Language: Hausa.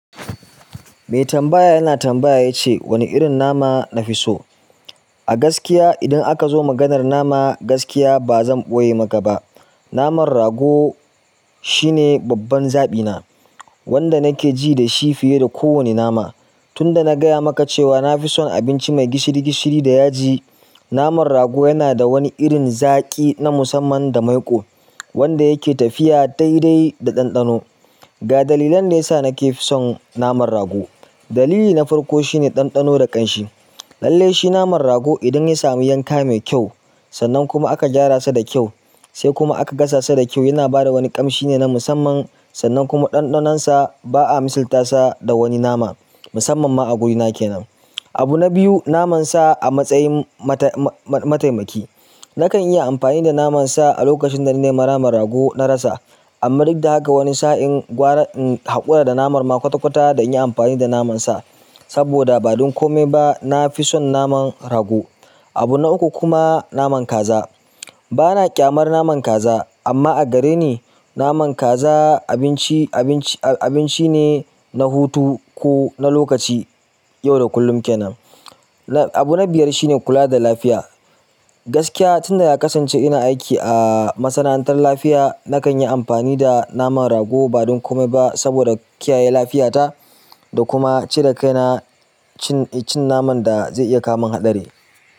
Mai tambaya yana tambaya ya ce wani irin nama na fi so? A gaskiya idan aka zo maganar nama, gaskiya ba zan ɓoye maka ba, naman rago shine babban zaɓina wanda nake ji da shi fiye da kowane nama. Tunda na giya maka cewa na fi son abinci mai gishiri gishiri da yaji, namar rago yana de wani irin zaki na masaman da maiƙo wanda yana tafiya daidai da ɗanɗano. Ga dalilan da ya sa nake son naman rago. Dalili na farko shine ɗanɗano da ƙanshi. Lallai shi naman rago idan ya sami yanka mai kyau, sannan kuma aka gyara sa da kyau, sai kuma aka gasa sa da kyau yana bada wani ƙamshi ne na musamman sannan kuma ɗanɗanonsa ba a misalta sa da wani nama musamman ma a gurina kenan. Abu na biyu naman sa a matsayin mata-ma-matayi-mataimaki. Nakan yi amfani da naman sa a lokacin da nake maraman rago na rasa, amma duk da haka wani sa'in gwara in haƙura da naman ma kwata-kwata dan in yi amfani da naman sa. Saboda ba don kome ba na fi son naman rago. Abu na uku kuma naman kaza. Bana ƙyamar naman kaza amma a gare ni naman kaza abinci-abinci-abinci ne na hutu ko na lokaci, yau da kullum kenan. Abu na biyar shine kula da lafiya. Gaskiya tunda ya kasance ina aiki a masana'antar lafiya, nakan yi amfani da naman rago ba don kome ba saboda kiyaye lafiyata da kuma cire kai na cin-cin naman da zai iya kama ni haɗari.